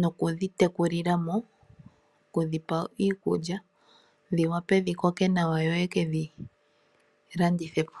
nokudhi tekulilamo, okudhipa iikulya dhi wape dhikoke nawa yo yekedhilandithepo.